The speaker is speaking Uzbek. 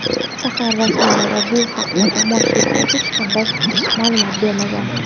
shahar rasmiylari bu haqda jamoatchilikka hech qanday ma’lumot bermagan.